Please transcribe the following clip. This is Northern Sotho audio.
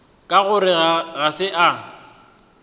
ka gore ga se a